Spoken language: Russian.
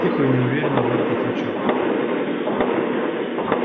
тихо и неуверенно робот отвечал